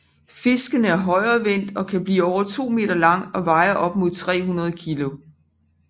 Fisken er højrevendt og kan bliver over 2 meter lang og veje op mod 300 kilo